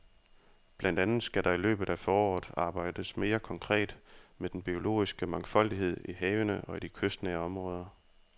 Blandt andet skal der i løbet af foråret arbejdes mere konkret med den biologiske mangfoldighed i havene og i de kystnære områder.